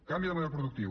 canvi de model productiu